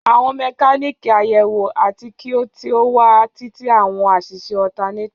Àwọn mekaniki ayewo ati ki o ti o wa titi awọn aṣiṣe alternator.